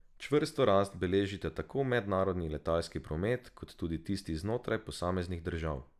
Čvrsto rast beležita tako mednarodni letalski promet kot tudi tisti znotraj posameznih držav.